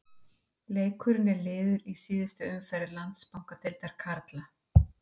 Leikurinn er liður í síðustu umferðar Landsbankadeildar karla.